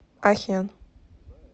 ахен